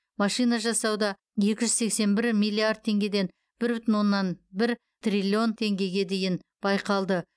машина жасауда екі жүз сексен бір миллиард теңгеден бір бүтін оннан бір триллион теңгеге дейін байқалды